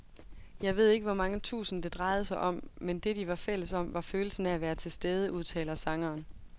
Jeg ved ikke hvor mange tusind, det drejede sig om, men det, de var fælles om, var følelsen af at være tilstede, udtaler sangeren.